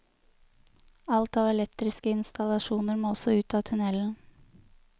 Alt av elektriske installasjoner må også ut av tunnelen.